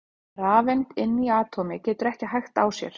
Rafeind inni í atómi getur ekki hægt á sér!